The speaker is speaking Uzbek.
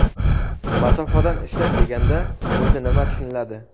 Masofadan ishlash deganda o‘zi nima tushuniladi?.